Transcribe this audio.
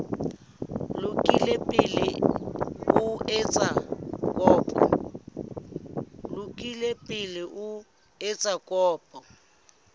lokile pele o etsa kopo